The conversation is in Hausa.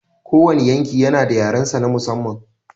Kowane yanki yana da yarensa na musamman.